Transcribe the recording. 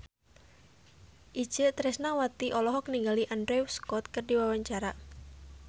Itje Tresnawati olohok ningali Andrew Scott keur diwawancara